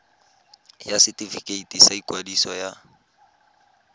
ya setefikeiti sa ikwadiso ya